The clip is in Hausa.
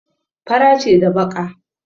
Fara ce da baƙa.